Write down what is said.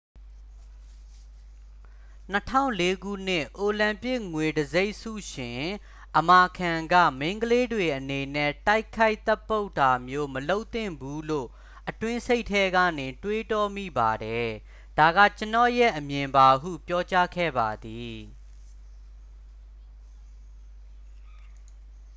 "၂၀၀၄ ခုနှစ် အိုလံပစ်ငွေတံဆိပ်ဆုရှင် အမာခန်းက၊ "မိန်းကလေးတွေအနေနဲ့ တိုက်ခိုက်သတ်ပုတ်တာမျိုး မလုပ်သင့်ဘူးလို့ အတွင်းစိတ်ထဲကနေ တွေးတောမိပါတယ်။ ဒါက ကျွန်တော့်ရဲ့အမြင်ပါ" ဟု ပြောကြားခဲ့ပါသည်။